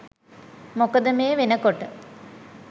මොකද මේ වෙනකොට